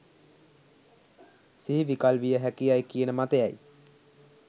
සිහි විකල් වියහැකි යැයි කියන මතය යි.